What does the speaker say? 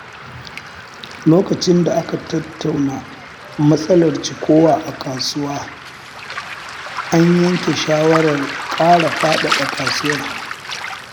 Lokacin da aka tattauna matsalar cikowa a kasuwa, an yanke shawarar ƙara faɗaɗa kasuwar.